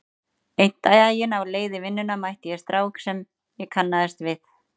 Einn daginn á leið í vinnuna mætti ég strák sem ég kannaðist við.